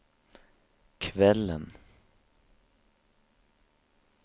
kvällen